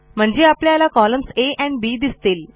म्हणजे आपल्याला columns A and B दिसतील